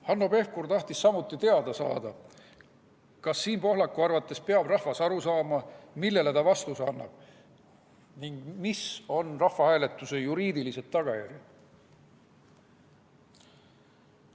Hanno Pevkur tahtis samuti teada saada, kas Siim Pohlaku arvates peab rahvas aru saama, millele ta vastuse annab ning mis on rahvahääletuse juriidilised tagajärjed.